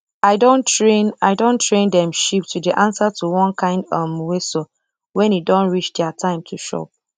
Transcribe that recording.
i don train i don train dem sheep to dey answer to one kind um whistle when e don reach dia time to chop